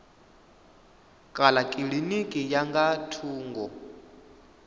kana kilinikini ya nga thungo